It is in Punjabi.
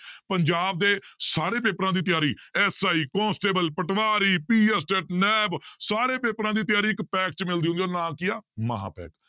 ਪੰਜਾਬ ਦੇ ਸਾਰੇ ਪੇਪਰਾਂ ਦੀ ਤਿਆਰੀ SI ਕੋਂਸਟੇਬਲ, ਪਟਵਾਰੀ ਨੈਬ ਸਾਰੇ ਪੇਪਰਾਂ ਦੀ ਤਿਆਰੀ ਇੱਕ ਪੈਕ ਵਿੱਚ ਨਾਂ ਕੀ ਹੈ ਮਹਾਂਪੈਕ